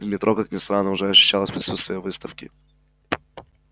в метро как ни странно уже ощущалось присутствие выставки